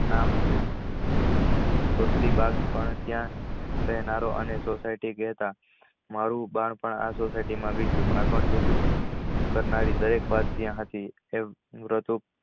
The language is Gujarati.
નામ હતું દર્ષ્ટિ બાગ પણ ત્યાં અને society કેટ મારુ બાળપણ સુખી કરનારી દરેક વાત ત્યાં હતી.